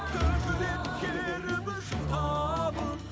көкірек керіп жұтамын